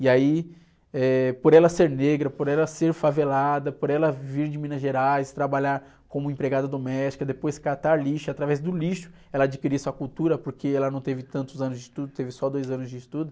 E aí, eh, por ela ser negra, por ela ser favelada, por ela vir de Minas Gerais, trabalhar como empregada doméstica, depois catar lixo, através do lixo ela adquirir sua cultura, porque ela não teve tantos anos de estudo, teve só dois anos de estudo.